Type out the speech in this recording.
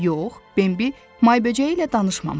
Yox, Bimbi may böcəyi ilə danışmamışdı.